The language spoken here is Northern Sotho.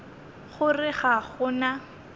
go re ga go na